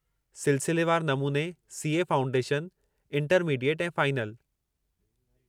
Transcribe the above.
सिलसिलेवार नमूने C. A. Foundation, intermediate ऐं फ़ाइनल।